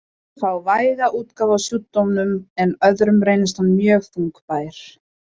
Sumir fá væga útgáfu af sjúkdómnum en öðrum reynist hann mjög þungbær.